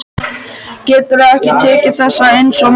Geturðu ekki tekið þessu eins og maður?